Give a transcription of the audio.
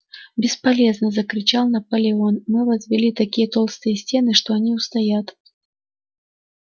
бесполезно закричал наполеон мы возвели такие толстые стены что они устоят